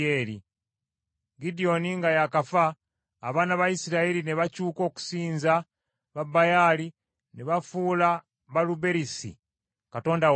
Gidyoni nga y’akafa, abaana ba Isirayiri ne bakyuka okusinza babaali ne bafuula Baaluberisi katonda waabwe.